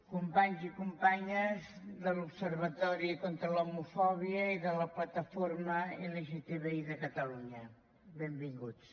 companys i companyes de l’observatori contra l’homofòbia i de la plataforma lgtbi de catalunya benvinguts